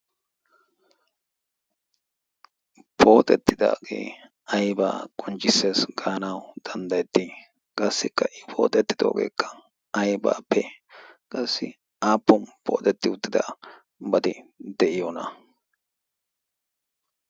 pooxettidaagee aybaa qonjjissees gaanawu danddayettii qaassikka i pooxettidoogeekka aybaa pe qassi aapponi pootetti uttida bati de'iyoona ?